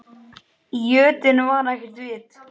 Í jötunni var ekkert vit.